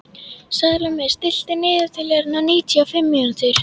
Salome, stilltu niðurteljara á níutíu og fimm mínútur.